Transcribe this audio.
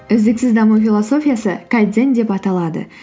үздіксіз даму философиясы деп аталады